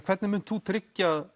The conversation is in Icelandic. hvernig munt þú tryggja